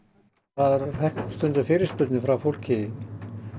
maður fékk stundum fyrirspurnir frá fólki